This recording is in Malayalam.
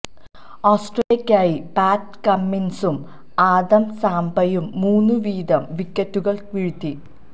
ഓസ്ട്രേലിയക്കായി പാറ്റ് കമ്മിന്സും ആദം സാംപയും മൂന്ന് വീതം വിക്കറ്റുകള് വീഴ്ത്തി